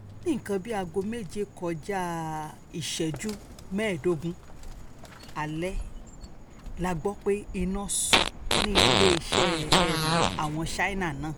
ní nǹkan bíi aago méje kọjá um ìṣẹ́jú mẹ́ẹ̀ẹ́dógún alẹ́ la gbọ́ pé iná sọ ní iléeṣẹ́ um àwọn ṣáínà náà